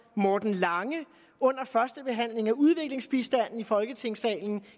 morten lange under førstebehandlingen af udviklingsbistanden i folketingssalen